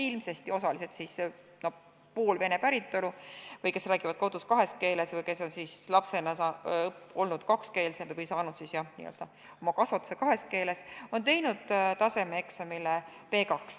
Ilmselt on poolvene päritolu õpilased või need, kes räägivad kodus kahes keeles või olnud lapsena kakskeelsed või saanud oma kasvatuse kahes keeles, teinud tasemeeksami B2.